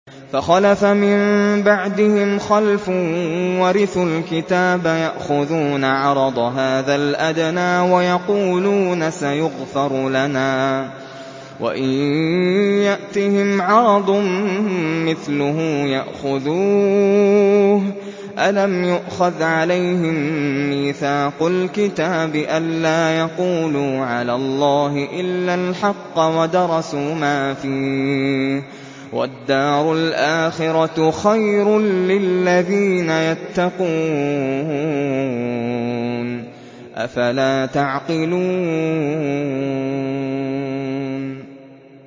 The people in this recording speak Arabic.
فَخَلَفَ مِن بَعْدِهِمْ خَلْفٌ وَرِثُوا الْكِتَابَ يَأْخُذُونَ عَرَضَ هَٰذَا الْأَدْنَىٰ وَيَقُولُونَ سَيُغْفَرُ لَنَا وَإِن يَأْتِهِمْ عَرَضٌ مِّثْلُهُ يَأْخُذُوهُ ۚ أَلَمْ يُؤْخَذْ عَلَيْهِم مِّيثَاقُ الْكِتَابِ أَن لَّا يَقُولُوا عَلَى اللَّهِ إِلَّا الْحَقَّ وَدَرَسُوا مَا فِيهِ ۗ وَالدَّارُ الْآخِرَةُ خَيْرٌ لِّلَّذِينَ يَتَّقُونَ ۗ أَفَلَا تَعْقِلُونَ